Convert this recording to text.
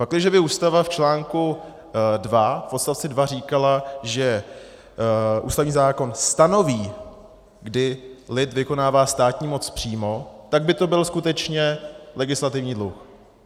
Pakliže by Ústava v článku 2 v odstavci 2 říkala, že ústavní zákon stanoví, kdy lid vykonává státní moc přímo, tak by to byl skutečně legislativní dluh.